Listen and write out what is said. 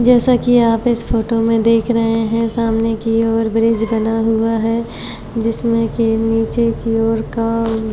जैसा कि आप इस फोटो में देख रहे हैं सामने की ओर ब्रिज बना हुआ है जिसमें के नीचे की ओर --